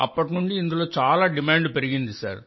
అప్పటి నుండి ఇందులో చాలా డిమాండ్ పెరిగింది